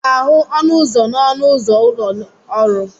Ị ga-ahụ ọnụ ụzọ n'ọnụ ụzọ ụlọ ọrụ.